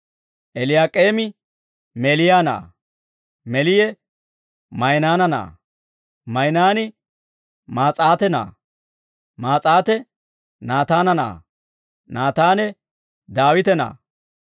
Eeliyaak'eemi Meeliya na'aa; Meeliye Mayinaana na'aa; Mayinaani Maas'aate na'aa; Maas'aate Naataane na'aa; Naataane Daawite na'aa;